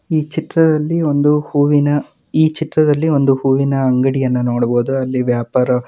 ಈ ಚಿತ್ರದಲ್ಲಿ ಒಂದು ಹೂವಿನ ಈ ಚಿತ್ರದಲ್ಲಿ ಒಂದು ಹೂವಿನ ಅಂಗಡಿಯನ್ನು ನೋಡ್ಬೋದು ಅಲ್ಲಿ ವ್ಯಾಪಾರ --